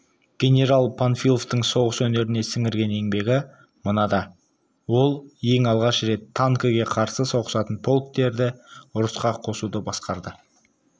генерал панфиловтың соғыс өнеріне сіңірген еңбегі мынада ол ең алғаш рет танкіге қарсы соғысатын полктерді ұрысқа қосуды басқарды